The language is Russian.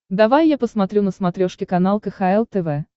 давай я посмотрю на смотрешке канал кхл тв